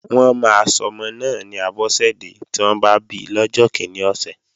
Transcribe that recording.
Wọ́n máa sọmọ náà ni Abọ́sẹ̀dẹ́ tí wọ́n bá bi lọ́jọ́ kíní ọ̀sẹ̀